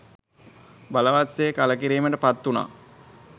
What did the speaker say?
බලවත් සේ කළකිරීමට පත්වුණා.